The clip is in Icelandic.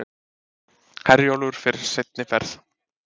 Herjólfur fer seinni ferð